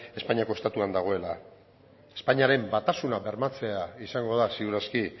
espainiako estatuan dagoela espainiaren batasuna bermatzea izango da ziur aski